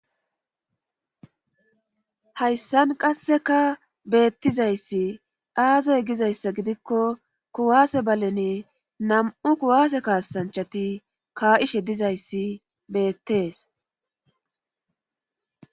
hayssan qasseka beettizayssi aaze gizayssa gidikko kuwaase baleni nam7u kuwaase kaassanchati ka7ishe dizayssi beettees